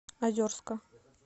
озерска